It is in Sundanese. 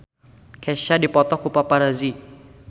Kesha dipoto ku paparazi